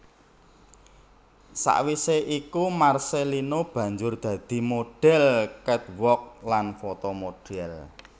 Sawisé iku Marcellino banjur dadi modhel catwalk lan fotomodel